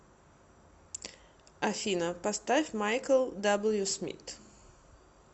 афина поставь майкл даблю смит